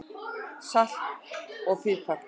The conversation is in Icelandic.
Salt og pipar